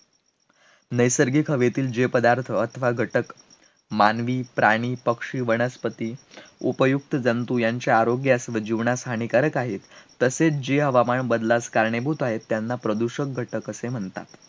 नैसर्गिक हवेतील जे पदार्थ अथवा घटक, मानवी प्राणी, पक्षी, वनस्पती, उपयुक्त जंतू यांच्या आरोग्यास व जीवनास हानिकारक आहेत, तसेच जे हवामान बदलास कारणीभूत आहेत, त्यांना प्रदूषक घटक असे म्हणतात